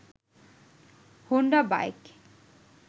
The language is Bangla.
Honda bike